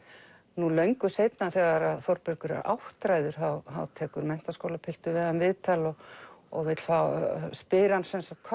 nú löngu seinna þegar Þórbergur er áttræður þá tekur menntaskólapiltur við hann viðtal og og spyr hann sem sagt